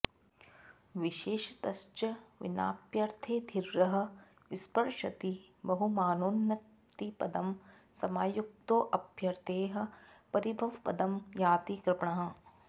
विशेषतश्च विनाप्यर्थैर्धीरः स्पृशति बहुमानोन्नतिपदं समायुक्तोऽप्यर्थैः परिभवपदं याति कृपणः